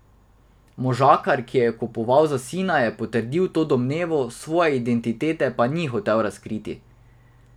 Možakar, ki je kupoval za sina, je potrdil to domnevo, svoje identitete pa ni hotel razkriti.